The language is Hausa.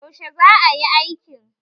Yaushe za a yi aikin?